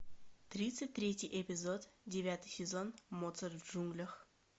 тридцать третий эпизод девятый сезон моцарт в джунглях